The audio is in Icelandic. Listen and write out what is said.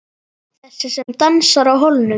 Þessi sem dansaði á hólnum.